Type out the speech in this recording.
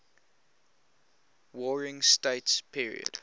warring states period